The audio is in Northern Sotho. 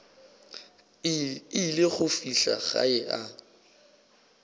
ile go fihla gae a